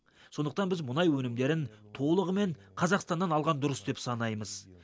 сондықтан біз мұнай өнімдерін толығымен қазақстаннан алған дұрыс деп санаймыз